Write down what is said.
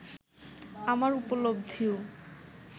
আমার উপলব্ধিও